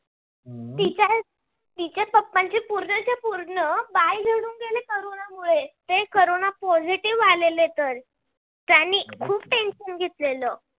पूर्ण बाल झडून गेले. corona मुळे ते corona positive आलेले तर त्यांनी खूप tension घेतलेलं.